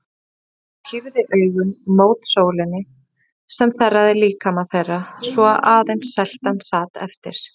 Stefán pírði augun mót sólinni sem þerraði líkama þeirra svo að aðeins seltan sat eftir.